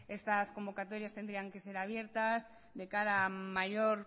estas convocatorias tendrían que ser abiertas de cara a mayor